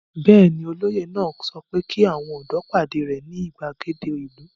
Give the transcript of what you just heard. Bẹ́ẹ̀ ni, olóyè náà sọ pé kí àwọn ọ̀dọ́ pàdé rẹ̀ ní ìgbàgede ìlú.